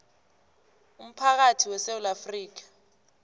umphakathi wesewula afrika